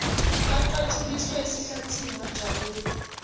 aqatshuliswe esihlathini wajabula